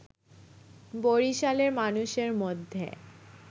বরিশালের মানুষের মধ্যে